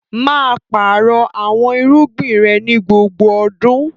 Maa páarọ̀ awọn irugbin rẹ ni gbogbo ọdún!